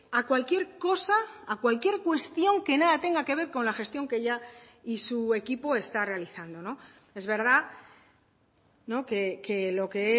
a cualquier cosa a cualquier cuestión que nada tenga que ver con la gestión que ella y su equipo está realizando es verdad que lo que